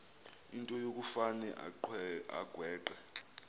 into yokufane agweqe